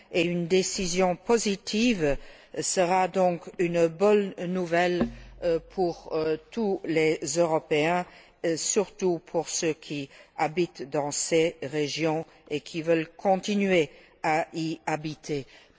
Une décision positive sera donc une bonne nouvelle pour tous les Européens, surtout pour ceux qui habitent dans ces régions et qui veulent continuer à y vivre.